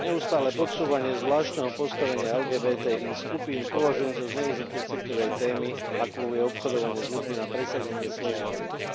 Neustále podsúvanie zvláštneho postavenia LGBTI skupín považujem za zneužitie citlivej témy, akou je obchodovanie s ľuďmi, na presadenie svojej agendy.